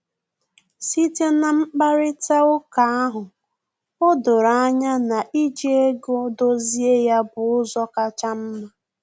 Site na mkparịta uka ahụ, o doro anya na iji ego dozie ya bụ ụzọ kacha mma